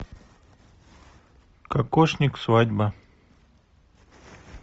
кокошник свадьба